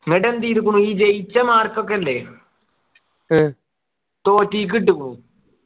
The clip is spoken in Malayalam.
എന്നുട്ടെന്ത് ചെയ്തിക്കുണു ഈ ജയിച്ച mark ഒക്കെ ഇല്ലേ തോറ്റേയ്ക്ക് ഇട്ടുക്കുണു